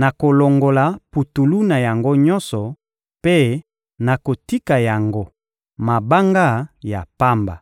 nakolongola putulu na yango nyonso mpe nakotika yango mabanga ya pamba.